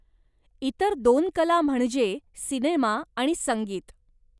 इतर दोन कला म्हणजे सिनेमा आणि संगीत.